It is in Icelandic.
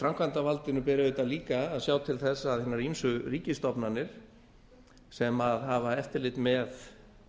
framkvæmdarvaldinu ber auðvitað líka að sjá til þess að hinar ýmsu ríkisstofnanir sem hafa eftirlit með